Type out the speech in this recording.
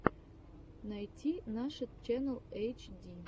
найти нашид ченнал эйчди